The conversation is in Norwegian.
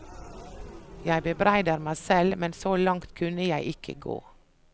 Jeg bebreider meg selv, men så langt kunne jeg ikke gå.